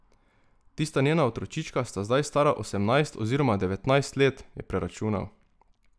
Tista njena otročička sta zdaj stara osemnajst oziroma devetnajst let, je preračunal.